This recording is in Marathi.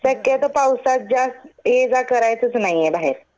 शक्यतो पावसात जास्त ये जा करायचंच नाही बाहेर.